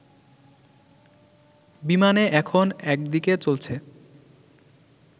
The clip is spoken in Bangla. বিমানে এখন একদিকে চলছে